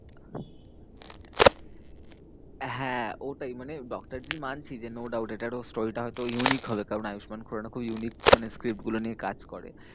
হ্যাঁ ওটাই মানে ডক্টরজি মানছি যে no doubt এটারও story টা হয়তো unique হবে। কারণ আয়ুষ্মান খুরানা খুব unique মানে script গুলো নিয়ে কাজ করে।